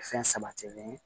Fɛn sabatilen ye